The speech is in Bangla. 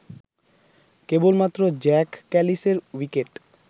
কেবলমাত্র জ্যাক ক্যালিসের উইকেট